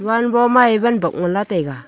wan bo ma evan bokmola taiaa.